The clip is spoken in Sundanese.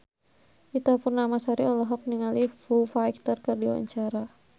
Ita Purnamasari olohok ningali Foo Fighter keur diwawancara